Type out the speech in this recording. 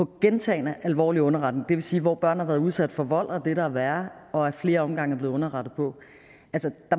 gentagne alvorlige underretninger sige hvor børn har været udsat for vold og det der er værre og ad flere omgange er blevet underrettet på